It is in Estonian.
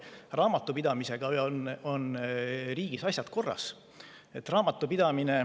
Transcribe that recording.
Raamatupidamisega on riigis asjad korras.